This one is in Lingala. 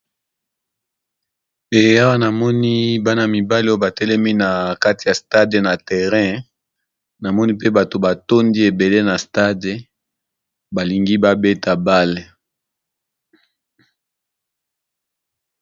Eyawa namoni bana mibale oyo batelemi na kati ya stade na terrain na moni mpe bato batondi ebele na stade balingi babeta bale.